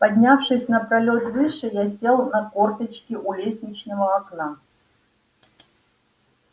поднявшись на пролёт выше я сел на корточки у лестничного окна